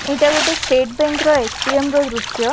ଏଇଟା ଗୋଟେ state bank ର ଏ ଟି ଏମ୍‌ ର ଦୃଶ୍ୟ ।